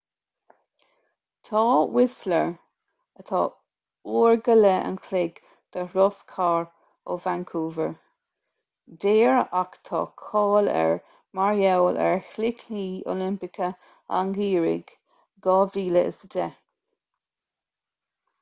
tá whistler 1.5 uair an chloig de thuras cairr ó vancouver daor ach tá cáil air mar gheall ar chluichí oilimpeacha an gheimhridh 2010